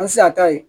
An ti se a ta ye